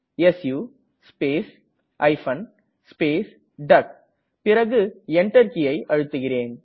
சு space hyphen space டக் பிறகு Enter கீயை அழுத்துகிறேன்